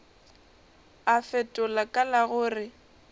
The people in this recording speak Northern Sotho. a fetola ka la gore